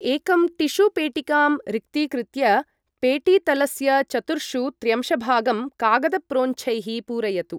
एकं टिश्यू पेटिकां रिक्तीकृत्य पेटीतलस्य चतुर्षु त्र्यंशभागं कागदप्रोञ्छैः पूरयतु।